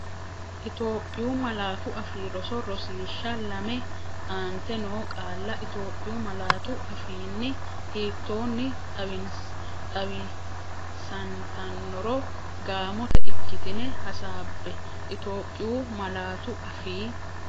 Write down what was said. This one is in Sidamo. Itophiyu Malaatu Afii Roso Rosiishsha Lame Aante noo qaalla Itophiyu malaatu afiinni hiittoonni xawisantannoro gaamote ikkitine hasaabbe Itophiyu Malaatu Afii.